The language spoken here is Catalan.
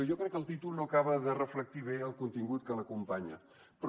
jo crec que el títol no acaba de reflectir bé el contingut que l’acompanya però